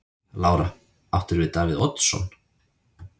Lára: Áttirðu við Davíð Oddsson?